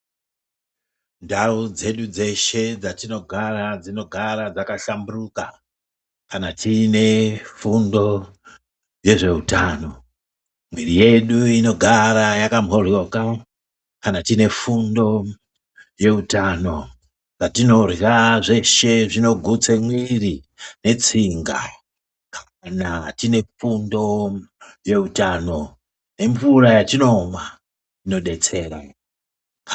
Ndau dzedu dzeshe dzatinogara ,dzinogara dzakahlamburuka kana tiine fundo yezveutano. Muiri yedu inogoara yakamhoroka kana tiine fundo yezveutano. Zvatinorya zvedu zvinogutsa muiri netsinga kana tiine fundo yezveutano. Nemvura yatinomwa inodetsera.